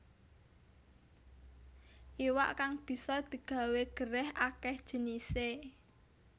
Iwak kang bisa digawé gerèh akéh jinisé